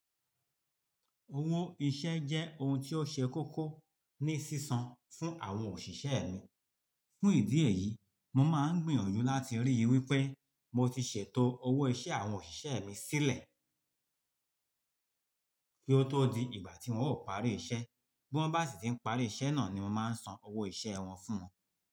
Owó iṣẹ́ jẹ́ ohun tí ó ṣe kókó ní sísan fún àwọn òṣìṣẹ́ mi. Fún ìdí èyí, mo máa ń gbìyànjú láti rí i wí pé mo ti ṣètò owó ìṣe àwọn òṣìṣẹ́ mi sílẹ̀ kí ó tó di ìgbà tí wọ́n ó parí iṣẹ́. Bí wọ́n bá sì ti ń parí iṣẹ́ náà ni mo máa ń san owó ìṣe wọn fún wọn.